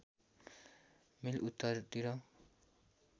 मिल उत्तरतिर